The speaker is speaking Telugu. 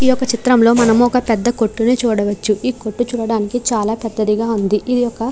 ఈ ఒక్క చిత్రంలో మనము ఒక పెద్ద కొట్టుని చూడవచ్చు. ఈ కొట్టు చూడడానికి చాలా పెద్దదిగా ఉంది. ఇది ఒక --